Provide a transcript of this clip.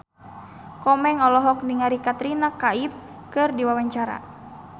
Komeng olohok ningali Katrina Kaif keur diwawancara